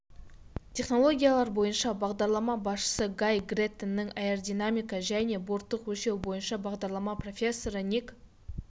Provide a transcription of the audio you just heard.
технологиялар бойынша бағдарлама басшысы гай грэттонның аэродинамика және борттық өлшеу бойынша бағдарлама профессоры ник